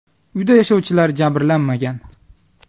Uyda yashovchilar jabrlanmagan.